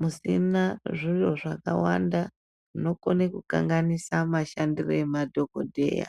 musina zviro zvakawanda zvinokwanisa kukanganisa mashandire emadhokodheya.